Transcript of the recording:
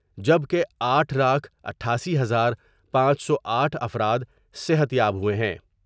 جبکہ آٹھ لاکھ اٹھاسی ہزار پانچ سو آٹھ افراد صحت یاب ہوۓ ہیں ۔